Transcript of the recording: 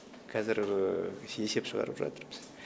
қазір есеп шығарып жатырмыз